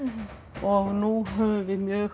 og nú höfum við mjög